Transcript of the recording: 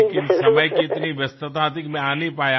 लेकिन समय की इतनी व्यस्तता थी कि मैं आ नहीं पाया